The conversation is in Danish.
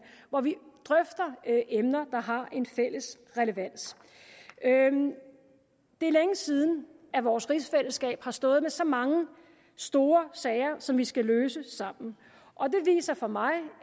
hvor vi drøfter emner der har en fælles relevans det er længe siden at vores rigsfællesskab har stået med så mange store sager som vi skal løse sammen og det viser for mig